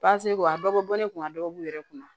a dɔ bɛ bɔ ne kunna dɔ b'u yɛrɛ kunna